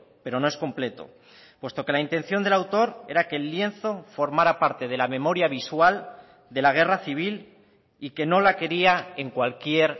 pero no es completo puesto que la intención del autor era que el lienzo formara parte de la memoria visual de la guerra civil y que no la quería en cualquier